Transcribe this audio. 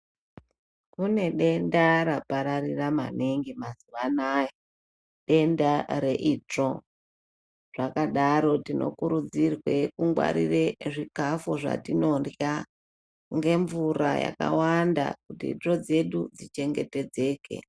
Kune denda rapararira maningi mazuva anayao denda reitsvo. Zvakadaro tinokurudzirwe kungwarire zvikafu zvatinorya ngemvura yakawanda kuti itsvo dzedu dzichengetedzeke.